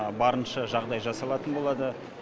барынша жағдай жасалатын болады